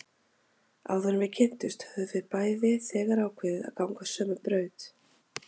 Áður en við kynntumst höfðum við bæði þegar ákveðið að ganga sömu braut.